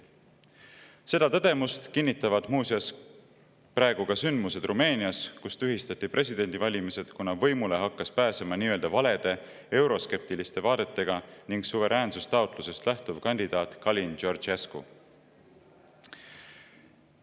Seda tõdemust kinnitavad muuseas praegu ka sündmused Rumeenias, kus tühistati presidendivalimised, kuna võimule hakkas pääsema nii-öelda valede ehk euroskeptiliste vaadetega ning suveräänsustaotlusest lähtuv kandidaat Calin Georgescu.